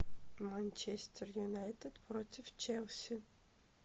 манчестер юнайтед против челси